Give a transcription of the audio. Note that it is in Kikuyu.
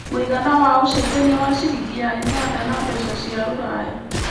mũigana wa ũcenjanĩa wa ciringi ya Uganda na mbeca cia rũraya